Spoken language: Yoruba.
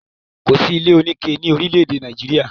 Kò sí ilé oníke ni orílè-èdè Nàìjíríà.